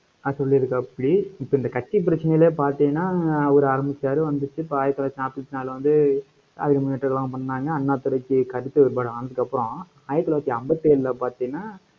ஆஹ் சொல்லிருக்காப்புடி. இப்ப இந்த கட்சி பிரச்சனையிலே பாத்தீங்கன்னா, அவரு ஆரம்பிச்சாரு வந்துச்சு. அப்ப ஆயிரத்தி தொள்ளாயிரத்தி நாப்பத்தி நாலுல வந்து பண்ணாங்க அண்ணாதுரைக்கு கருத்து வேறுபாடு ஆனதுக்கப்புறம், ஆயிரத்தி தொள்ளாயிரத்தி ஐம்பத்தி ஏழுல பார்த்தீங்கன்னா,